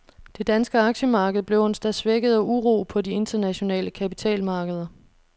Det danske aktiemarked blev onsdag svækket af uro på de internationale kapitalmarkeder.